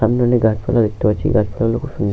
সামনে অনেক গাছপালা দেখতে পাচ্ছি গাছপালাগুলো খুব সুন্দ--